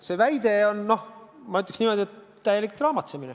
See väide on, ma ütleksin, täielik draamatsemine.